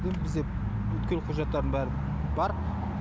бізде бүткіл құжаттардың бәрі бар